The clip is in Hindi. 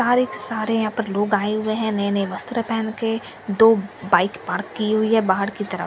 सारेक सारे यहां पर लोग आये हुए है नए नए वस्त्र पहन के दो बाइक पार्क की हुई है बाहर की तरफ़ --